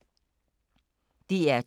DR2